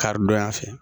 Karidonya fɛ